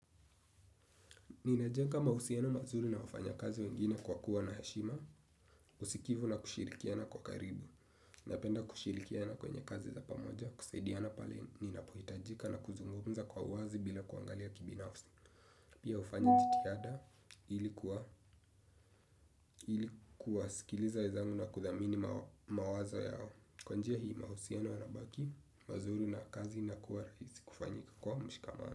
Ninajenga mahusiano mazuri na wafanyakazi wengine kwa kuwa na heshima, usikivu na kushirikiana kwa karibu, napenda kushirikiana kwenye kazi za pamoja, kusaidiana pale, ninapohitajika na kuzungumza kwa uwazi bila kuangalia kibinafsi. Pia ufanya jitihada ili kuwasikiliza wezangu na kudhamini mawazo yao. Kwa njia hii mahusiano yanabaki, mazuri na kazi inakuwa raisi kufanyika kwa mshikamana.